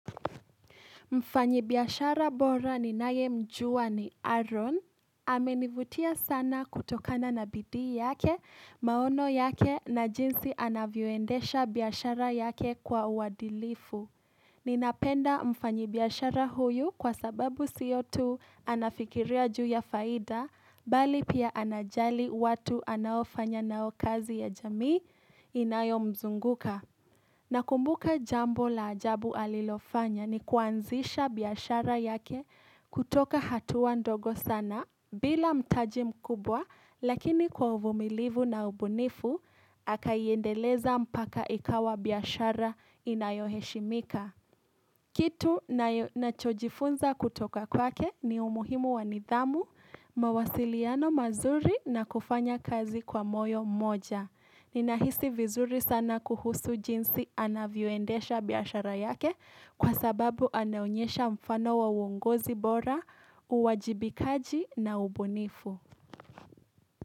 Mfanyi biashara bora ni nayemjua ni Aaron. Amenivutia sana kutokana na bidii yake, maono yake na jinsi anavyoendesha biashara yake kwa uadilifu. Ninapenda mfanyibiashara huyu kwa sababu sio tu anafikiria juu ya faida, bali pia anajali watu anaofanya nao kazi ya jamii inayo mzunguka. Nakumbuka jambo la ajabu alilofanya ni kuanzisha biashara yake kutoka hatuwa ndogo sana bila mtaji mkubwa lakini kwa uvumilivu na ubunifu, akaiendeleza mpaka ikawa biashara inayoheshimika. Kitu nachojifunza kutoka kwake ni umuhimu wa nidhamu, mawasiliano mazuri na kufanya kazi kwa moyo mmoja. Ninahisi vizuri sana kuhusu jinsi anavyoendesha biashara yake kwa sababu anayonyesha mfano wa uongozi bora, uwajibikaji na ubunifu.